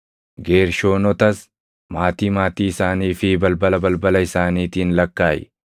“Geershoonotas maatii maatii isaanii fi balbala balbala isaaniitiin lakkaaʼi.